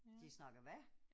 De snakker hvad?